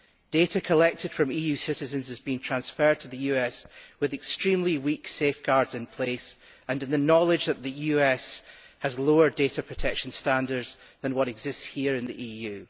Data collected from EU citizens is being transferred to the US with extremely weak safeguards in place and in the knowledge that the US has lower data protection standards that exist here in the EU.